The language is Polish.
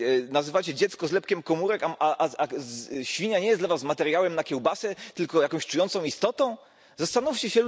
Nazywacie dziecko zlepkiem komórek, a świnia nie dla Was materiałem na kiełbasę, tylko jakąś czującą istotą?! Zastanówcie